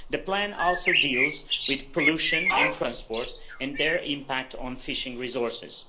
The plan also deals with pollution and transport and their impact on fishing resources.